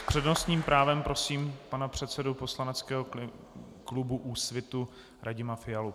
S přednostním právem prosím pana předsedu poslaneckého klubu Úsvit Radima Fialu.